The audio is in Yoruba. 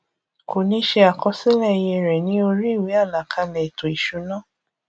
kò ní ṣe àkọsílẹ iye rẹ ní orí ìwé àlàkalẹ ètò ìsúná